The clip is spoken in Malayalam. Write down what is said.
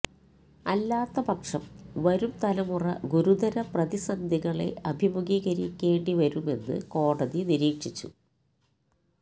അല്ലാത്തപക്ഷം വരും തലമുറ ഗുരുതര പ്രതിസന്ധികളെ അഭിമുഖീകരിക്കേണ്ടിവരുമെന്ന് കോടതി നിരീക്ഷിച്ചു